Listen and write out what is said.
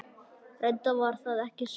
Reyndar var það ekki svo.